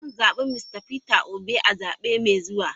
Zan zabi Mista Peter Obi a zabe mai zuwa.